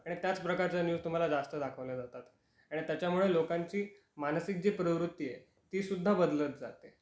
आणि त्याच प्रकारच्या न्यूज तुम्हाला जास्त दाखवल्या जातात. आणि त्यामुळे लोकांची मानसिक जी प्रवृत्ती आहे ती सुद्धा बदलत जाते